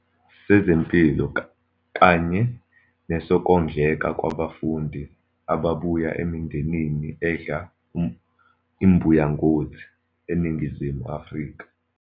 sezempilo kanye nesokondleka kwabafundi ababuya emindenini edla imbuya ngothi eNingizimu Afrika.